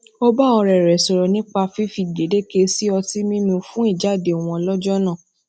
ó bá òré rè sòrò nipa fifi gbedeke si ọti mimu fun ijade won lójó náà